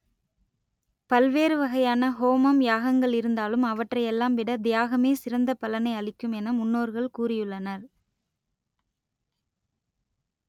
பல்வேறு வகையான ஹோமம் யாகங்கள் இருந்தாலும் அவற்றை எல்லாம் விட தியாகமே சிறந்த பலனை அளிக்கும் என முன்னோர்கள் கூறியுள்ளனர்